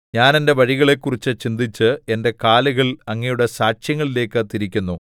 ഞാൻ എന്റെ വഴികളെക്കുറിച്ച് ചിന്തിച്ച് എന്റെ കാലുകൾ അങ്ങയുടെ സാക്ഷ്യങ്ങളിലേക്കു തിരിക്കുന്നു